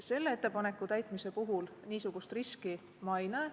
Selle ettepaneku puhul ma niisugust riski ei näe.